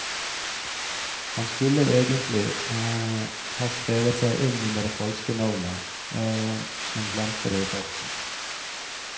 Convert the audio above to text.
Han skulle egentlig ha skrevet seg inn under det falske navnet, men glemte det i farten.